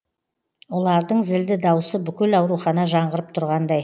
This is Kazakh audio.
ұлардың зілді даусы бүкіл ауруханада жаңғырып тұрғандай